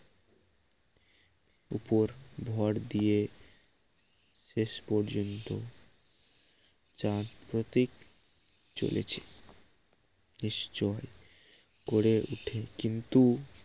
উপর ভর দিয়ে শেষ পর্যন্ত চান প্রতিক চলেছে নিশ্চয় করে উঠে কিন্তু